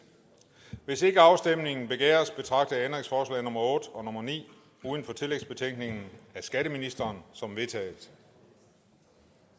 hvis ikke afstemning begæres betragter jeg ændringsforslag nummer otte og ni uden for tillægsbetænkningen af skatteministeren som vedtaget